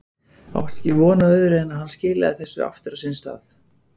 Átti ekki von á öðru en að hann skilaði þessu aftur á sinn stað.